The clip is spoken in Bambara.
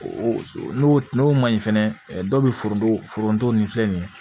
O so n'o n'o ma ɲi fɛnɛ dɔw bɛ foroto nin filɛ nin ye